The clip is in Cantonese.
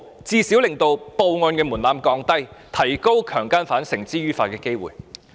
這最少可令報案門檻降低，提高將強姦犯繩之於法的機會。